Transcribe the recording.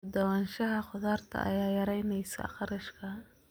U dhawaanshaha khudaarta ayaa yaraynaysa kharashka.